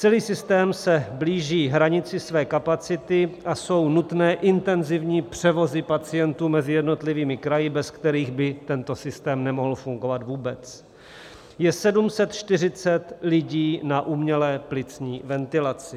Celý systém se blíží hranici své kapacity a jsou nutné intenzivní převozy pacientů mezi jednotlivými kraji, bez kterých by tento systém nemohl fungovat vůbec, je 740 lidí na umělé plicní ventilaci.